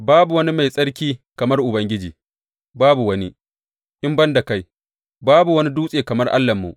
Babu wani mai tsarki kamar Ubangiji babu wani, in ban da kai; babu wani dutse kamar Allahnmu.